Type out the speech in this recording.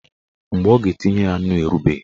Mgbe ọ ga-etinye ya nnu erubeghị.